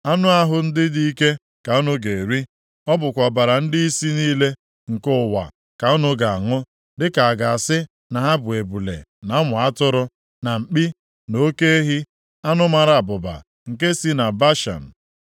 Anụ ahụ ndị dị ike ka unu ga-eri, ọ bụkwa ọbara ndịisi niile nke ụwa ka unu ga-aṅụ, dịka a ga-asị na ha bụ ebule na ụmụ atụrụ, na mkpi, na oke ehi, anụ mara abụba nke si na Bashan.